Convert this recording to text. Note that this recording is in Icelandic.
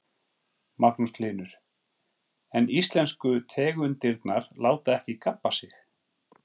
Magnús Hlynur: En íslensku tegundirnar láta ekki gabba sig?